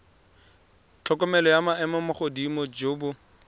tlhokomelo jwa maemogodimo jo bo